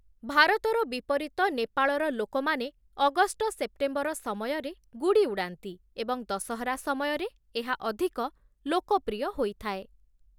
ଭାରତର ବିପରୀତ, ନେପାଳର ଲୋକମାନେ ଅଗଷ୍ଟ - ସେପ୍ଟେମ୍ବର ସମୟରେ ଗୁଡ଼ି ଉଡାନ୍ତି ଏବଂ ଦଶହରା ସମୟରେ ଏହା ଅଧିକ ଲୋକପ୍ରିୟ ହୋଇଥାଏ ।